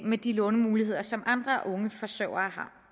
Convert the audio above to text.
med de lånemuligheder som andre unge forsørgere